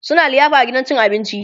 suna liyafa a gidan cin abinci